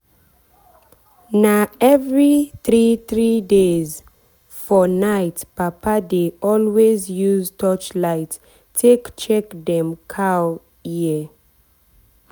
na every three three days days for nightpapa dey always use torchlight take check dem cow ear.